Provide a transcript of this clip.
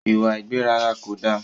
Ìwà ìgbéraga ko da.